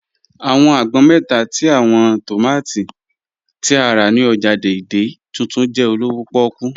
Awọn àgbọn mẹ́ta tí awọn tómátí tí a rá ni ọ́jà Dei-Dei Tuntun jẹ olówò pòkú